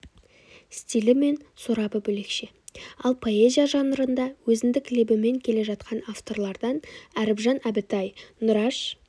стилі мен сорабы бөлекше ал поэзия жанрында өзіндік лебімен келе жатқан авторлардан әріпжан әбітай нұраш